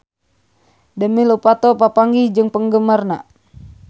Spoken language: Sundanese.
Demi Lovato papanggih jeung penggemarna